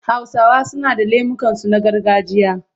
Hausawa suna da lemukansu na gargajiya.